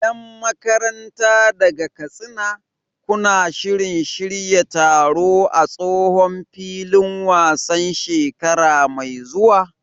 Yan makaranta daga Katsina, kuna shirin shirya taro a tsohon filin wasan shekara mai zuwa?